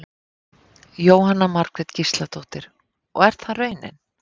Jóhanna Margrét Gísladóttir: Og er það raunin?